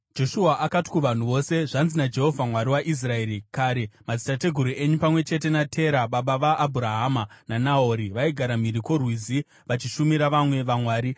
Joshua akati kuvanhu vose, “Zvanzi naJehovha Mwari waIsraeri: ‘Kare madzitateguru enyu pamwe chete naTera, baba vaAbhurahama naNahori, vaigara mhiri kwoRwizi vachishumira vamwe vamwari.